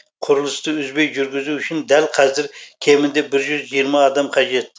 құрылысты үзбей жүргізу үшін дәл қазір кемінде бір жүз жиырма адам қажет